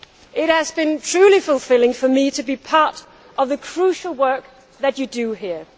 It has been truly fulfilling for me to be part of the crucial work that you do here.